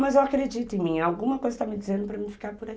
Mas eu acredito em mim, alguma coisa está me dizendo para eu não ficar por aí.